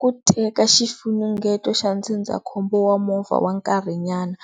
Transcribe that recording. Ku teka xifunengeto xa ndzindzakhombo wa movha wa nkarhi nyana